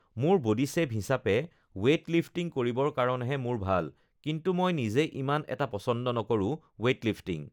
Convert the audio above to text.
মোৰ বডীশ্বেপ হিচাপে weight lifting কৰিবৰ কাৰণেহে মোৰ ভাল কিন্তু মই নিজে ইমান এটা পচন্দ নকৰোঁ ৱেইটলিফ্টিং